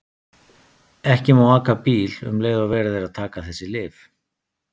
Ekki má aka bíl um leið og verið er að taka þessi lyf.